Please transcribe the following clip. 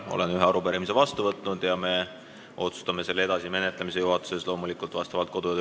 Olen vastu võtnud ühe arupärimise ning me otsustame selle edasise menetlemise juhatuses kodu- ja töökorra seaduse kohaselt.